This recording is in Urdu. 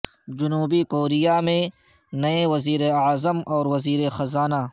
جنوبی کوریا میں نئے وزیر اعظم اور وزیر خزانہ